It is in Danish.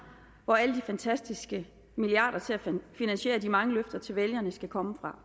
hvor alle de fantastiske milliarder til at finansiere de mange løfter til vælgerne skal komme fra